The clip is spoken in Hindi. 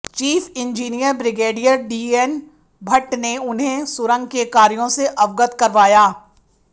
chief engineer brigadier DN Bhatt ने उन्हें सुरंग के कार्यों से अवगत करवाया